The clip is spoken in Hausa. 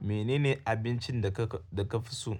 Menene abincin da ka fi so?